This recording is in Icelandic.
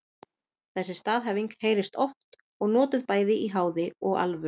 Þessi staðhæfing heyrist oft og notuð bæði í háði og alvöru.